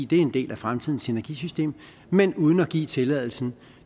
det er en del af fremtidens energisystem men uden at give tilladelse